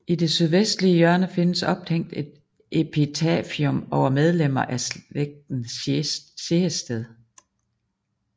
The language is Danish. I det sydvestlige hjørne findes ophængt et epitafium over medlemmer af slægten Sehested